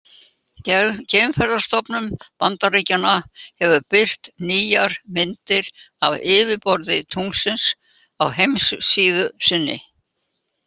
Geimferðastofnun Bandaríkjanna hefur birt nýjar myndir af yfirborði tunglsins á heimasíðu sinni.